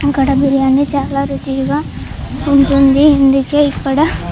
ఇక్కడ బిర్యానీ చాలా రుచిగా ఉంటుంది. అందుకే ఇక్కడ--